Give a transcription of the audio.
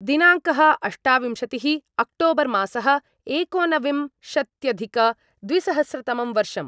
दिनाङ्कः अष्टाविंशतिः अक्टोबर्मासः एकोनविं शत्यधिकद्विसहस्रतमं वर्षम्